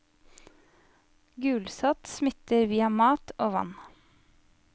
Gulsott smitter via mat og vann.